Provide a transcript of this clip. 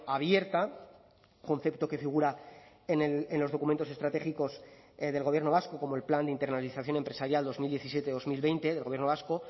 abierta concepto que figura en los documentos estratégicos del gobierno vasco como el plan de internalización empresarial dos mil diecisiete dos mil veinte del gobierno vasco